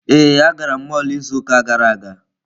Ee, agara m mọlụ izu ụka gara aga.